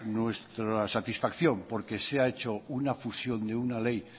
nuestra satisfacción porque se ha hecho una fusión de una ley